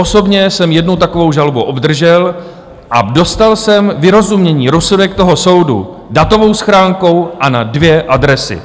Osobně jsem jednu takovou žalobu obdržel a dostal jsem vyrozumění, rozsudek toho soudu, datovou schránkou a na dvě adresy.